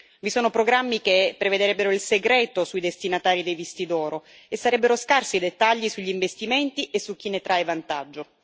Vi sono programmi che prevedrebbero il segreto sui destinatari dei visti d'oro, e sarebbero scarsi i dettagli sugli investimenti e su chi ne trae vantaggio.